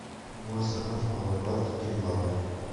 мастер класс по накладке гель лака